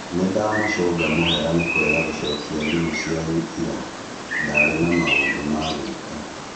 Nĩ ndamũcũnga mũhera nĩ kũrega gũcokia thimũ cianyu ira, ndarĩ na maũndũ ma gwĩka.